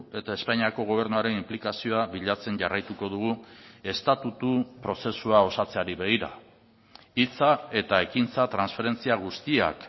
eta espainiako gobernuaren inplikazioa bilatzen jarraituko dugu estatutu prozesua osatzeari begira hitza eta ekintza transferentzia guztiak